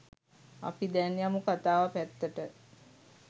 අපි දැන් යමු කථාව පැත්තට